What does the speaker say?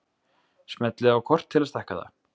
Smellið á kort til að stækka það.